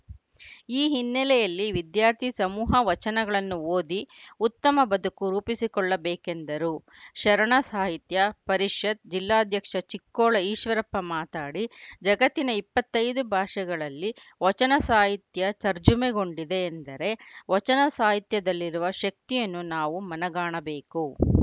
ಈ ಹಿನ್ನಲೆಯಲ್ಲಿ ವಿದ್ಯಾರ್ಥಿ ಸಮೂಹ ವಚನಗಳನ್ನು ಓದಿ ಉತ್ತಮ ಬದುಕು ರೂಪಿಸಿಕೊಳ್ಳ ಬೇಕೆಂದರು ಶರಣ ಸಾಹಿತ್ಯ ಪರಿಷತ್‌ ಜಿಲ್ಲಾಧ್ಯಕ್ಷ ಚಿಕ್ಕೋಳ ಈಶ್ವರಪ್ಪ ಮಾತನಾಡಿ ಜಗತ್ತಿನ ಇಪ್ಪತ್ತ್ ಐದು ಭಾಷೆಗಳಲ್ಲಿ ವಚನ ಸಾಹಿತ್ಯ ತರ್ಜುಮೆಗೊಂಡಿದೆ ಎಂದರೆ ವಚನ ಸಾಹಿತ್ಯದಲ್ಲಿರುವ ಶಕ್ತಿಯನ್ನು ನಾವು ಮನಗಾಣಬೇಕು